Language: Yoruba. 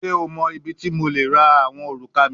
Ṣe o mọ ibiti mo le ra awọn oruka mi?